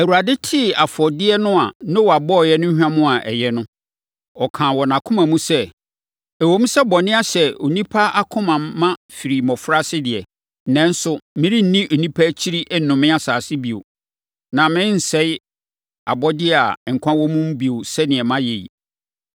Awurade tee afɔdeɛ no a Noa bɔeɛ no hwam a ɛyɛ no, ɔkaa wɔ nʼakoma mu sɛ, “Ɛwom sɛ bɔne ahyɛ onipa akoma ma firi ne mmɔfraase deɛ, nanso merenni onipa akyiri nnome asase bio. Na merensɛe abɔdeɛ a nkwa wɔ mu bio sɛdeɛ mayɛ yi.